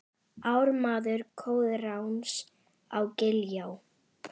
Ármaður Koðráns á Giljá